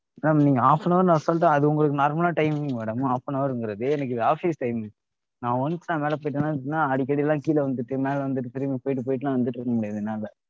madam நீங்க half an hour னு assault ஆ அது உங்களுக்கு normal ஆன timing madam half an hour ங்கிறது எனக்கு இது office timing நான் once நான் மேல போய்ட்டனா எப்படினா அடிக்கடிலாம் கீழ வந்துட்டு மேல வந்துட்டு திரும்பிப் போயிட்டு போயிட்டுலாம் வந்துகிட்ருக்க முடியாது என்னால